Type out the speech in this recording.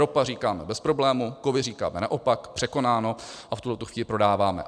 Ropa říkáme bez problému, kovy říkáme naopak, překonáno, a v tuhletu chvíli prodáváme.